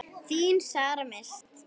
Þín Sara Mist.